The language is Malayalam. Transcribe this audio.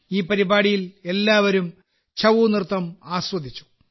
ഈ പരിപാടിയിൽ എല്ലാവരും ഛഊ നൃത്തം ആസ്വദിച്ചു